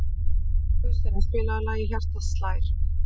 Guðsteina, spilaðu lagið „Hjartað slær“.